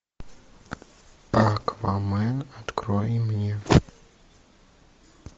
аквамен открой мне